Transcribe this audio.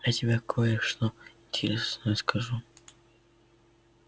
я тебе кое-что интересное расскажу